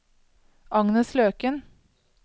Agnes Løken